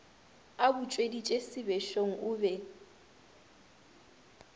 a butšweditše sebešong o be